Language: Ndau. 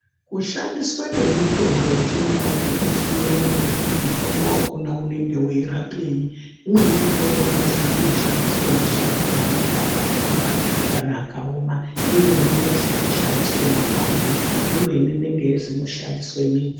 Kushandiswe kwemitombo yechindau, kunosiyana ngekuti mutombo wakona unenge weyirapeyi ,imweni mitombo inozwi inoshandiswa mashakani anenge akatamba kana akaoma. Imweni inozwi inoshandiswa makwande, imweni inenge yeizwi ino shandiswe midzi.